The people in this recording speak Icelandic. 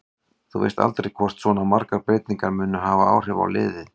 Þú veist aldrei hvort svona margar breytingar munu hafa áhrif á liðið.